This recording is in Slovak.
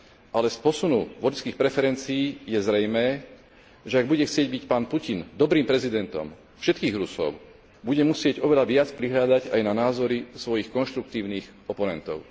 Ale z posunu voličských preferencií je zrejmé, že ak bude chcieť byť pán Putin dobrým prezidentom všetkých Rusov, bude musieť oveľa viac prihliadať aj na názory svojich konštruktívnych oponentov.